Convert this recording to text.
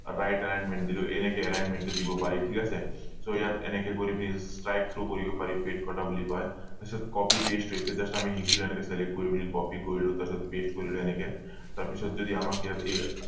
right alignment দিলো এনেকে alignment টো দিব পাৰি ঠিক আছে so ইয়াত এনেকে কৰি পিনি slide show কৰিব পাৰি বুলি কয় তাৰ পিছত copy paste হৈছে just আমি শিকিলো এনেকে select কৰি পিনি copy কৰিলো তাৰ পিছত paste কৰিলো এনেকে তাৰ পিছত যদি আমাক ইয়াত এই